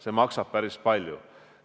See maksab päris palju.